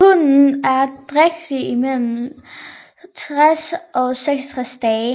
Hunnen er drægtig i mellem 60 og 63 dage